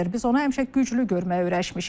Biz onu həmişə güclü görməyə öyrəşmişik.